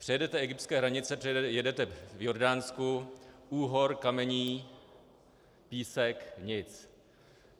Přejedete egyptské hranice, jedete v Jordánsku - úhor, kamení, písek, nic.